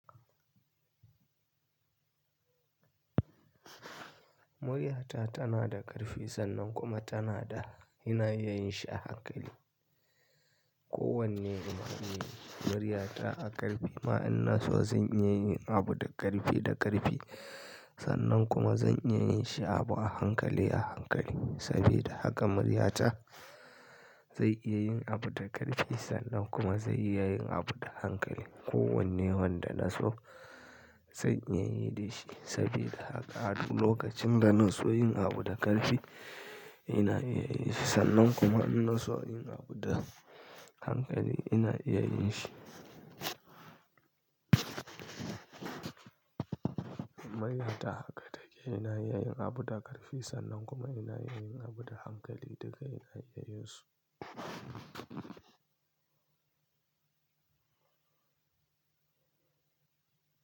Muryata tana da ƙarfi sannan kuma tana da ina iya yin shi a hankali. Ko wanne in ce muryata a ƙarfi ma in na so zan iya yin abu da ƙarfi da ƙarfi. Sannan kuma zan iya yin shi abu a hankali a hankali. Saboda haka muryata zai iya yin abu da ƙarfi sannan kuma zai iya yin abu da hankali. Ko wanne wanda na so zan iya yi da shi. Saboda haka a duk lokacin da na so yin abu da ƙarfi ina iya yin shi sannan kuma in na so yin abu da hankali ina iya yin shi. Muryata haka take. Ina iya yin abu da ƙarfi sannan kuma ina iya yin abu da hankali duka ina iya yin su.